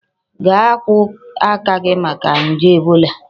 Gaa akwu aka gi maka nje Ebola!